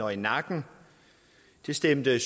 og nakke det stemte